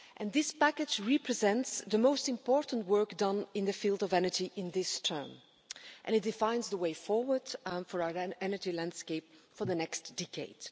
This package represents the most important work done in the field of energy in this term, and it defines the way forward for our energy landscape for the next decade.